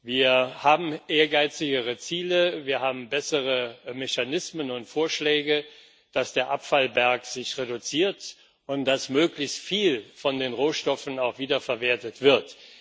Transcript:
Wir haben ehrgeizigere Ziele, wir haben bessere Mechanismen und Vorschläge, dass der Abfallberg sich reduziert und dass möglichst viel von den Rohstoffen auch wiederverwertet wird.